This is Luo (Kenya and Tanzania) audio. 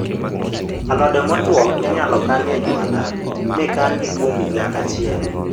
Alode motuo inyalo kani e jwala mi kangi kuom higa achiel